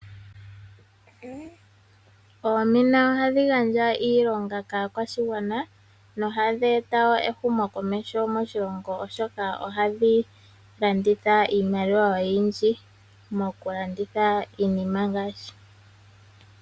Oomina ohadhi gandja iilonga moshingwana no hadheeta ehumo komeho oshoka ohadhi landitha iinima oyindji ngaashi uuwe nongopolo.